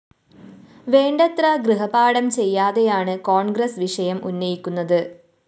വേണ്ടത്ര ഗൃഹപാഠം ചെയ്യാതെയാണ് കോണ്‍ഗ്രസ് വിഷയം ഉന്നയിക്കുന്നത്